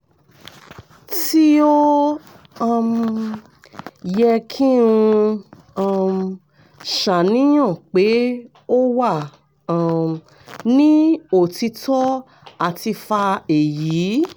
ti o um yẹ ki n um ṣàníyàn pe o wa um ni otitọ ati fa eyi?